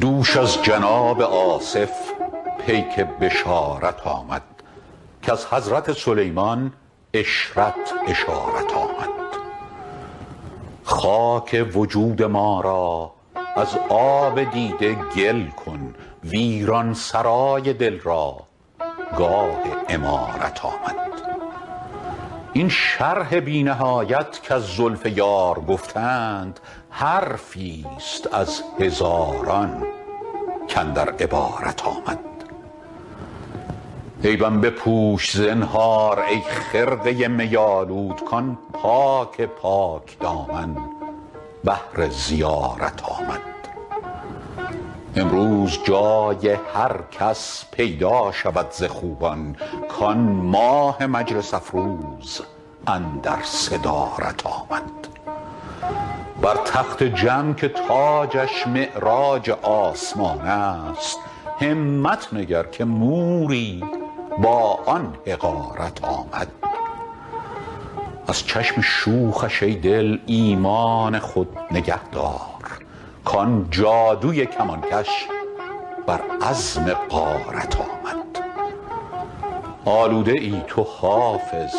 دوش از جناب آصف پیک بشارت آمد کز حضرت سلیمان عشرت اشارت آمد خاک وجود ما را از آب دیده گل کن ویران سرای دل را گاه عمارت آمد این شرح بی نهایت کز زلف یار گفتند حرفی ست از هزاران کاندر عبارت آمد عیبم بپوش زنهار ای خرقه می آلود کآن پاک پاک دامن بهر زیارت آمد امروز جای هر کس پیدا شود ز خوبان کآن ماه مجلس افروز اندر صدارت آمد بر تخت جم که تاجش معراج آسمان است همت نگر که موری با آن حقارت آمد از چشم شوخش ای دل ایمان خود نگه دار کآن جادوی کمانکش بر عزم غارت آمد آلوده ای تو حافظ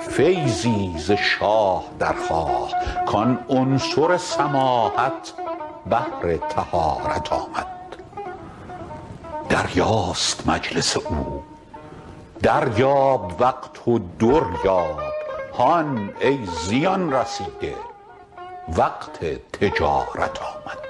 فیضی ز شاه درخواه کآن عنصر سماحت بهر طهارت آمد دریاست مجلس او دریاب وقت و در یاب هان ای زیان رسیده وقت تجارت آمد